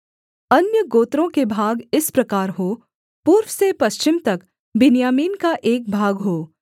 अन्य गोत्रों के भाग इस प्रकार हों पूर्व से पश्चिम तक बिन्यामीन का एक भाग हो